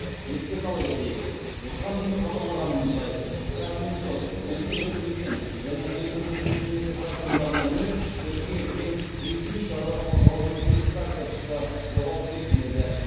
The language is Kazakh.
еске сала кетейік осыған дейін хабарлағанымыздай к семьсот мтз сексен және мтз сексен екі тракторларына мініп шөпке кеткен престиж шаруа қожалығының үш тракторшысы жоғалып кеткен еді